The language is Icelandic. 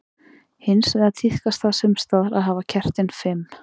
Hins vegar tíðkast það sums staðar að hafa kertin fimm.